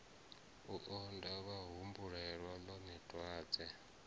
u onda vhahumbulela ḽone dwadze